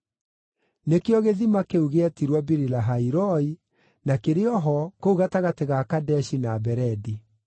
Nĩkĩo gĩthima kĩu gĩetirwo Biri-Lahai-Roi, na kĩrĩ o ho, kũu gatagatĩ ga Kadeshi na Beredi.